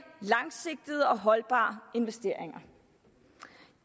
langsigtede og holdbare investeringer